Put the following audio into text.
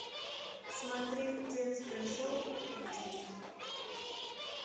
смотреть детское шоу кукутики